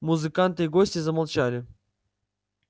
музыканты и гости замолчали